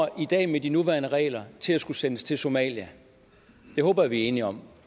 i dag med de nuværende regler til at skulle sendes til somalia det håber jeg vi er enige om